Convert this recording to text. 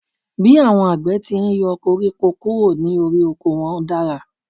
Bí àwọn àgbẹ̀ ti n yọ koríko kúrò ní orí oko wọ́n dára